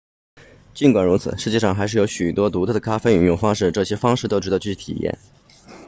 尽管如此世界上还是有许多独特的咖啡饮用方式这些方式都值得去体验